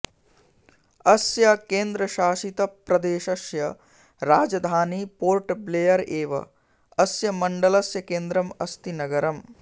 अस्य केन्द्रशासितप्रदेशस्य राजधानी पोर्ट ब्लेयर एव अस्य मण्डलस्य केन्द्रम् अस्ति नगरम्